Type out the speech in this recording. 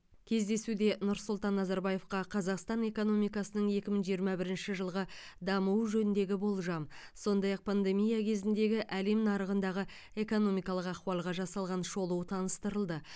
кездесуде нұрсұлтан назарбаевқа қазақстан экономикасының екі мың жиырма бірінші жылғы дамуы жөніндегі болжам сондай ақ пандемия кезіндегі әлем нарығындағы экономикалық ахуалға жасалған шолу таныстырылды